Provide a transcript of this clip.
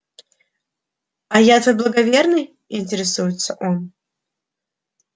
а я твой благоверный интересуется он